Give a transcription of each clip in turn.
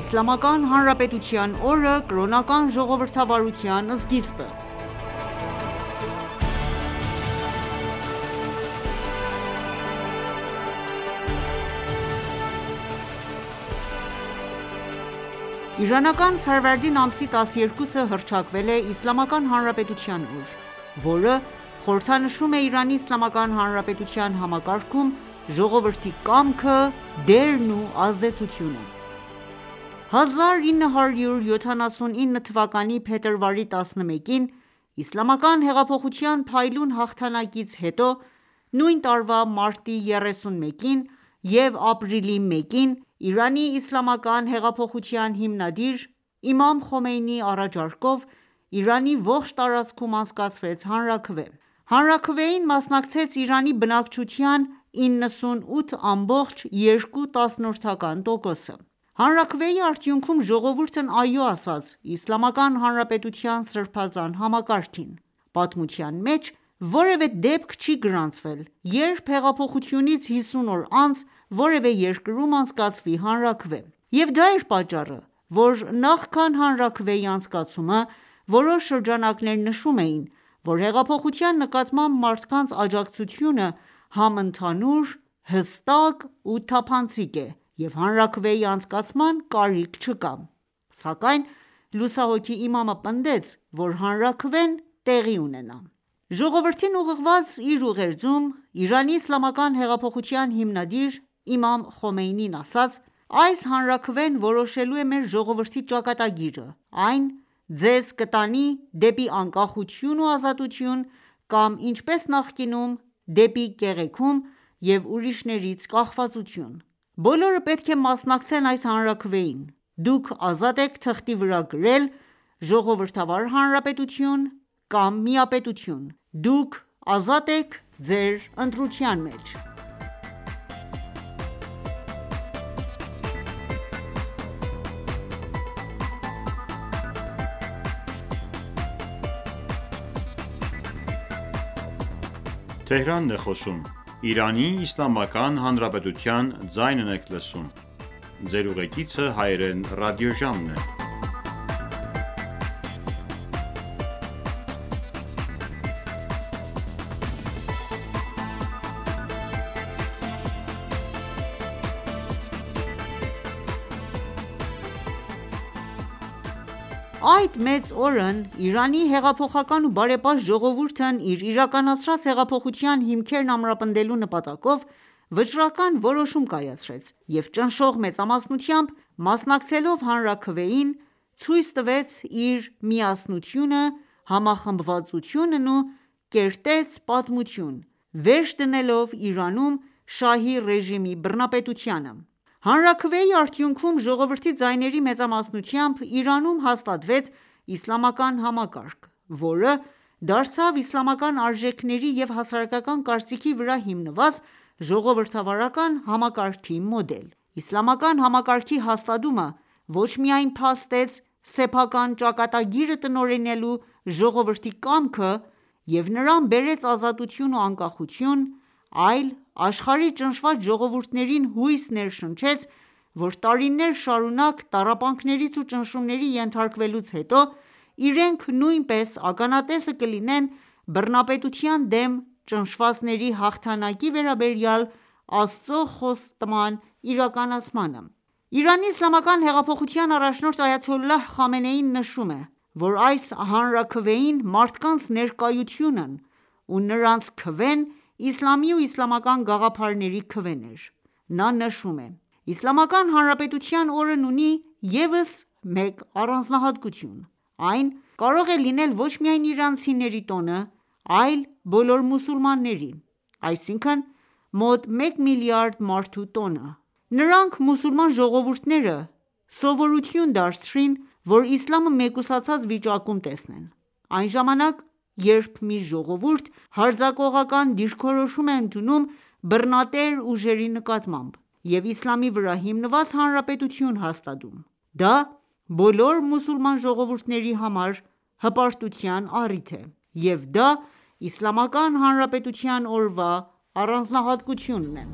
Իսլամական Հանրապետության օրը՝ կրոնական ժողովրդավարության սկիզբը Իրանական Ֆարվարդին ամսի 12-ը հռչակվել է Իսլամական Հանրապետության օր, որը խորհրդանշում է Իրանի Իսլամական Հանրապետության համակարգում ժողովրդի կամքը, դերն ու ազդեցությունը։ 1979 թվականի փետրվարի 11-ին իսլամական հեղափոխության փայլուն հաղթանակից հետո, նույն տարվա մարտի 31-ին և ապրիլի 1-ին, ԻԻՀ հիմնադիր իմամ Խոմեյնիի առաջարկով, Իրանի ողջ տարածքում անցկացվեց հանրաքվե: Հանրաքվեին մասնակցեց Իրանի բնակչության 98.2 տոկոսը: Հանրաքվեի արդյունքում ժողովուրդն «Այո» ասաց Իսլամական Հանրապետւթյան սրբազան համակարգին: Պատմության մեջ որևէ դեպք չի գրանցվել, երբ հեղափոխությունից 50 օր անց, որևէ երկրում անցկացվի հանրաքվե: Եվ դա էր պատճառը, որ նախքան հանրաքվեի անցկացումը, որոշ շրջանակներ նշում էին, որ հեղափոխության նկատմամբ մարդկանց աջակցությունը համընդհանուր, հստակ ու թափանցիկ է և հանրաքվեի անցկացման կարիք չկա: Սակայն լուսահոգի իմամը պնդեց, որ հանրաքվեն տեղի ունենա: Ժողովրդին ուղղված իր ուղերձում, ԻԻՀ հիմնադիր իմամ Խոմեյնին ասաց. «Այս հանաքվեն որոշելու է մեր ժողովրդի ճակատագիրը: Այն ձեզ կտանի դեպի անկախություն ու ազատություն, կամ, ինչպես նախկինում, դեպի կեղեքում և ուրիշներից կախվածություն: Բոլորը պետք է մասնակցեն այս հանրաքվեին: Դուք ազատ եք թղթի վրա գրել՝ Ժողովրդավար հանրապետություն կամ միապետություն: Դուք ազատ եք ձեր ընտրության մեջ»: Այդ մեծ օրն Իրանի հեղափոխական ու բարեպաշտ ժողովուրդն իր իրականացրած հեղափոխության հիմքերն ամրապնդելու նպատակով, վճռական որոշում կայացրեց և ճնշող մեծամասնությամբ մասնակցելով հանրաքվեին, ցույց տվեց իր միասնությունը, համախմբվածությունն ու կերտեց պատմություն, վերջ դնելով Իրանում շահի ռեժիմի բռնապետությանը: Հանրաքվեի արդյունքում, ժողովրդի ձայների մեծամասնությամբ, Իրանում հաստատվեց իսլամական համակարգ, որը դարձավ իսլամական արժեքների և հասարակական կարծիքի վրա հիմնված ժողովրդավարական համակարգի մոդել: Իսլամական համակարգի հաստատումը ոչ միայն փաստեց սեփական ճակատագիրը տնօրինելու ժողովրդի կամքը և նրան բերեց ազատություն ու անկախություն, այլ աշխարհի ճնշված ժողովուրդներին հույս ներշնչեց, որ տարիներ շարունակ տառապանքներից ու ճնշումների ենթարկվելուց հետո, իրենք նույնպես ականատես կլինեն բռնատիրության դեմ ճնշվածների հաղթանակի վերաբերյալ Աստծու խոստման իրականացմանը: ԻԻՀ առաջնորդ այաթոլլահ Խամենեին նշում է, որ այս հանրաքվեին մարդկանց ներկայությունն ու նրանց քվեն իսլամի ու իսլամական գաղափարների քվեն էր: Նա նշում է. «Իսլամական Հանրապետության օրն ունի ևս մեկ առանձնահատկություն: Այն կարող է լինել ոչ միայն իրանցիների տոնը, այլ բոլոր մուսուլմանների, այսինքն՝ մոտ մեկ միլիարդ մարդու տոնը: Նրանք՝ մուսուլման ժողովուրդները, սովորություն դարձրին, որ իսլամը մեկուսացած վիճակում տեսնեն: Այն ժամանակ, երբ մի ժողովուրդ հարձակողական դիրքորոշում է ընդունում բռնատեր ուժերի նկատմամբ, և իսլամի վրա հիմնված Հանրապետություն հաստատում, դա բոլոր մուսուլման ժողովուրդների համար հպարտության առիթ է: Եվ դա Իսլամական Հանրապետության օրվա առանձնահատկությունն է»: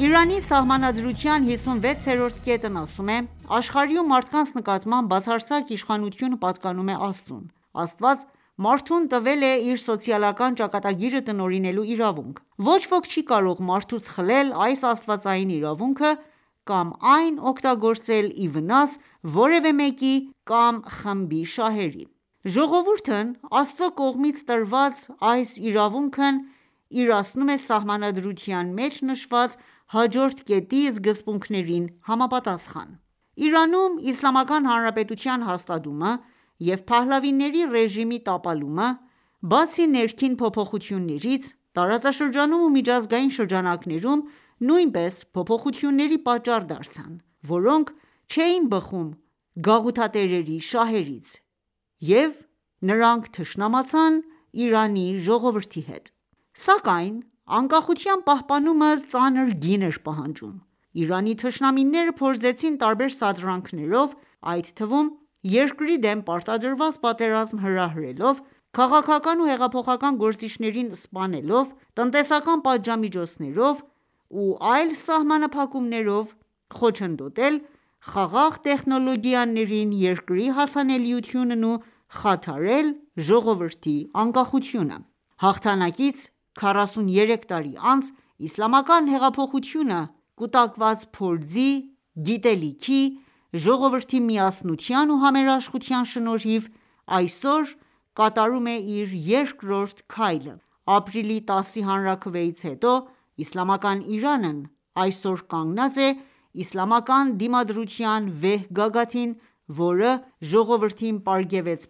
Իրանի Սահմանադրության 56-րդ կետն ասում է. «Աշխարհի ու մարդկանց նկատմամբ բացարձակ իշխանությունը պատկանում է Աստծուն: Աստված մարդուն տվել է իր սոցիալական ճակատագիրը տնօրինելու իրավունք: Ոչ ոք չի կարող մարդուց խլել այս աստվածային իրավունքը կամ այն օգտագործել ի վնաս որևէ մեկի կամ խմբի շահերի: Ժողովուրդն Աստծու կողմից տրված այս իրավունքն իրացնում է Սահմանադրության մեջ նշված հաջորդ կետի սկզբունքներին համապատասխան»: Իրանում իսլամական հանրապետության հաստատումը և Փահլավիների ռեժիմի տապալումը, բացի ներքին փոփոխություններից, տարածաշրջանում ու միջազգային շրջանակներում նույնպես փոփոխությունների պատճառ դարձան, որոնք չէին բխում գաղութատերերի շահերից: Եվ նրանք թշնամացան Իրանի ժողովրդի հետ: Սակայն անկախության պահպանումը ծանր գին էր պահանջում: Իրանի թշնամիները փորձեցին տարբեր սադրանքներով, այդ թվում՝ երկրի դեմ պարտադրված պատերազմ հրահրելով, քաղաքական ու հեղափոխական գործիչներին սպանելով, տնտեսական պատժամիջոցներով ու այլ սահմանափակումներով, խոչընդոտել խաղաղ տեխնոլոգիաներին երկրի հասանելիությունն ու խաթարել ժողովրդի անկախությունը: Հաղթանակից 43 տարի անց, իսլամական հեղափոխությունը, կուտակած փորձի, գիտելիքի, ժողովրդի միասնության ու համերաշխության շնորհիվ, այսօր կատարում է իր երկրորդ քայլը: Ապրիլի 10-ի հանրաքվեից հետո, Իսլամական Իրանն այսօր կանգնած է իսլամական դիմադրության վեհ գագաթին, որը ժողովրդին պարգևեց